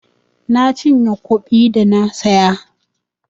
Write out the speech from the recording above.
Na cinye nkwobi da na saya.